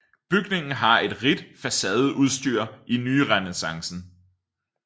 Bygningen har et rigt facadeudstyr i nyrenæssance